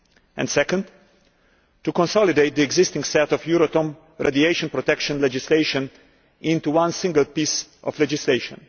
and secondly, to consolidate the existing set of Euratom radiation protection legislation into one single piece of legislation.